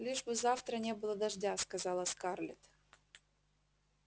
лишь бы завтра не было дождя сказала скарлетт